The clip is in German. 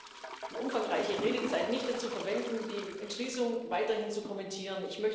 Ich möchte die umfangreiche Redezeit nicht dazu verwenden, die Entschließung weiterhin zu kommentieren.